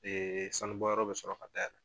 sanu bɔyɔrɔ bɛ sɔrɔ ka dayɛlɛ.